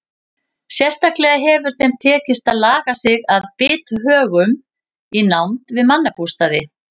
Sérstaklega hefur þeim tekist að laga sig að bithögum í nánd við mannabústaði.